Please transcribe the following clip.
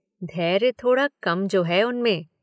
धैर्य थोड़ा कम जो है उनमें।